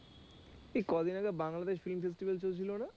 এই কদিন আগে বাংলাদেশ film festival চলছিল না?